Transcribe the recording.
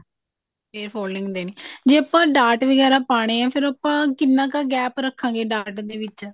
ਫ਼ੇਰ folding ਦੇਣੀ ਜੇ ਆਪਾਂ ਡਾਟ ਵਗੇਰਾ ਪਾਉਣੇ ਆ ਫ਼ੇਰ ਆਪਾਂ ਕਿੰਨਾ ਕੁ gap ਰੱਖਾਗੇ ਡਾਟ ਦੇ ਵਿੱਚ